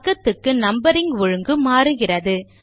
பக்கத்துக்கு நம்பரிங் ஒழுங்கு மாறுகிறது